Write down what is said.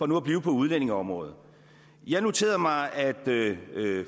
nu at blive på udlændingeområdet jeg noterede mig at